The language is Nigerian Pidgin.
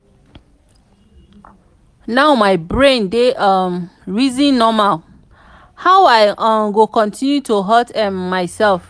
now my brain dey um reason normal how i um go continue to hurt um myself.